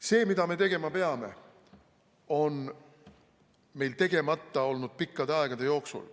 See, mida me tegema peame, on meil tegemata olnud pikkade aegade jooksul.